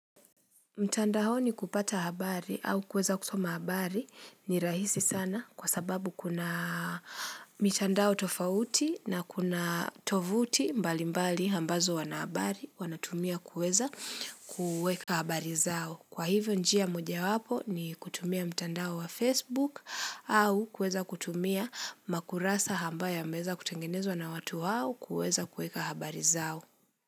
Mtandaoni kupata habari au kueza kusoma habari ni rahisi sana kwa sababu kuna mitandao tofauti na kuna tovuti mbali mbali ambazo wanahabari wanatumia kueza kueka habari zao. Kwa hivyo njia moja wapo ni kutumia mtandao wa Facebook au kueza kutumia makurasa ambayo yameweza kutengenezwa na watu hao kueza kueka habari zao.